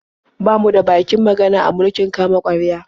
Ba mu da bakin magana a mulkin kama-karya.